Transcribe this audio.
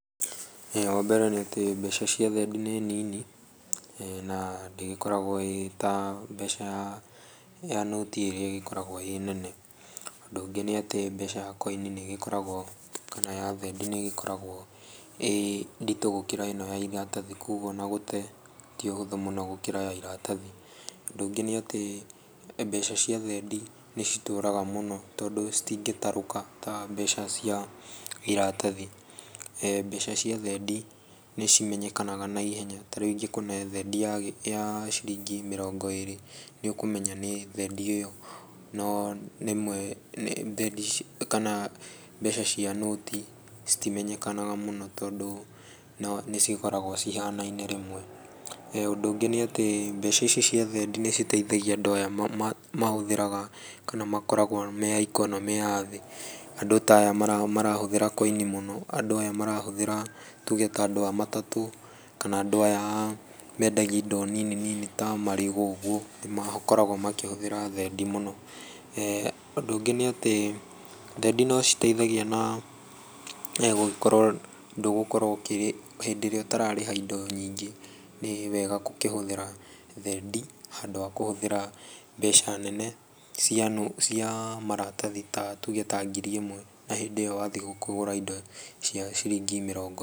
Wa mbere nĩ atĩ mbeca cia thendi nĩ nini, na ndĩgĩkoragwo ĩĩ ta mbeca ya noti ĩrĩa ĩgĩkoragwo ĩĩ nene. Ũndũ ũngĩ nĩ atĩ mbeca ya koini nĩ igĩkoragwo, kana ya thendi nĩ ĩgĩkoragwo ĩĩ nditũ gũkĩra ĩno ya iratathi kogwo ona gũte ti ũhũthũ mũno gũkĩra ya iratathi. Ũndũ ũngĩ nĩ atĩ mbeca cia thendi nĩ citũraga mũno tondũ citingĩtarũka ta mbeca cia iratathi. Mbeca cia thendi nĩ cimenyekanaga na ihenya, ta rĩu ingĩkũhe thendi ya ciringi mĩrongo ĩĩrĩ nĩ ũkũmenya nĩ thendi ĩyo. No rĩmwe mbeca cia noti citimenyekanaga mũno tondũ nĩ cikoragwo cihanaine rĩmwe. Ũndũ ũngĩ nĩ atĩ mbeca ici cia thendi nĩ citeithagia andũ aya mahũthĩraga kana mamoragwo me a ikonomĩ ya thĩ. Andũ ta aya marahũthĩra koini mũno, andũ aya marahũthĩra, tuge ta andũ a matatũ, kana andũ aya mendagia indo nini nini ta marigũ ũguo nĩ makoragwo makĩhũthĩra thendi mũno. Ũndũ ũngĩ nĩ atĩ thendi no citeithagia na gũgĩkorwo ndũgũkorwo, hĩndĩ ĩrĩa ũtararĩha indo nyingĩ nĩ wega gũkĩhũthĩra thendi handũ wa kũhũthĩra mbeca nene cia maratathi ta tuge ta ngiri ĩmwe na hĩndĩ ĩyo wathiĩ kũgũra indo cia ciringi mĩrongo...